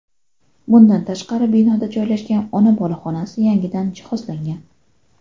Bundan tashqari, binoda joylashgan ona-bola xonasi yangidan jihozlangan.